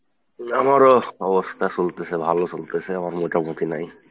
আমারও অবস্থা চলতেসে, ভালো চলতেসে, আমার মোটামুটি নাই।